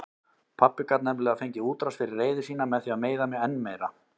Pabbi gat nefnilega fengið útrás fyrir reiði sína með því að meiða mig enn meira.